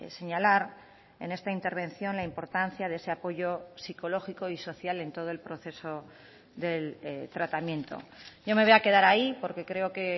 señalar en esta intervención la importancia de ese apoyo psicológico y social en todo el proceso del tratamiento yo me voy a quedar ahí porque creo que